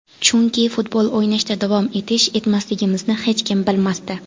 Chunki futbol o‘ynashda davom etish, etmasligimizni hech kim bilmasdi.